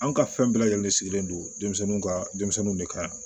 An ka fɛn bɛɛ lajɛlen sigilen don denmisɛnninw ka denmisɛnninw de kan